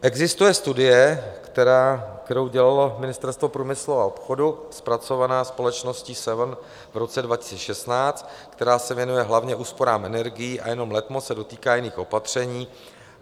Existuje studie, kterou dělalo Ministerstvo průmyslu a obchodu, zpracovaná společností Seven v roce 2016, která se věnuje hlavně úsporám energií a jenom letmo se dotýká jiných opatření.